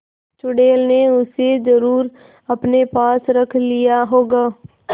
चुड़ैल ने उसे जरुर अपने पास रख लिया होगा